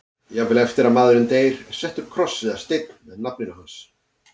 Jafnvel eftir að maðurinn deyr er settur kross eða steinn með nafninu hans.